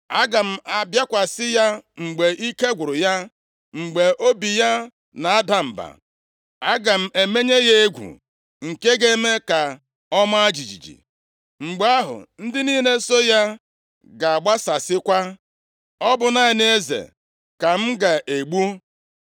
Aga m abịakwasị ya mgbe ike gwụrụ ya, mgbe obi ya na-ada mba. Aga m emenye ya egwu nke ga-eme ka ọ maa jijiji. Mgbe ahụ, ndị niile so ya ga-agbasasịkwa. Ọ bụ naanị eze ka m ga-egbu